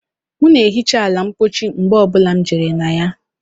M na ehicha ala ụlọ mpochi mgbe ọ bụla m jere na ya